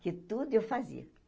Porque tudo eu fazia.